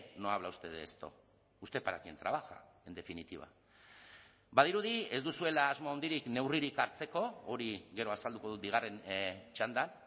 no habla usted de esto usted para quién trabaja en definitiva badirudi ez duzuela asmo handirik neurririk hartzeko hori gero azalduko dut bigarren txandan